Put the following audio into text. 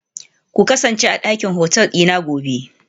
Ku kasance a dakin hotel dina gobe